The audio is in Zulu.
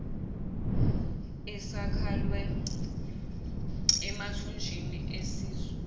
esakhela emathunjini esisu